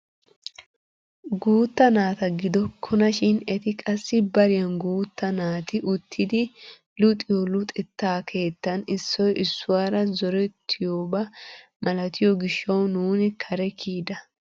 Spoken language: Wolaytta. Guutta naata gidokkona shin eti qassi bariyaan guutta naati uttidi luxiyoo luxettaa kettaan issoy issuwaara zorettiyooba maltiyoo gishshawu nuuni kare kiyida!